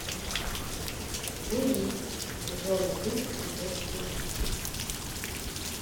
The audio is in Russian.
луи сезон один эпизод двенадцать